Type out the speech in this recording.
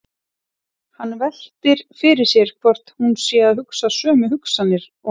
Hann veltir fyrir sér hvort hún sé að hugsa sömu hugsanir og hann.